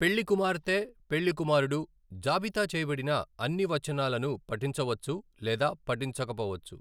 పెళ్లికుమార్తె, పెళ్లికుమారుడు జాబితా చేయబడిన అన్ని వచనాలను పఠించవచ్చు లేదా పఠించకపోవచ్చు.